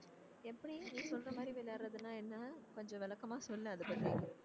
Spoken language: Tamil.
எப்படி நீ சொல்ற மாதிரி விளையாடுறதுன்னா என்ன கொஞ்சம் விளக்கமா சொல்லு அதைப் பத்தி